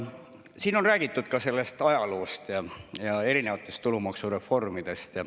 Siin on räägitud ajaloost ja erinevatest tulumaksureformidest.